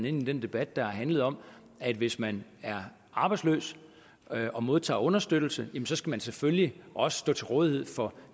i den debat der har handlet om at hvis man er arbejdsløs og modtager understøttelse så skal man selvfølgelig også stå til rådighed for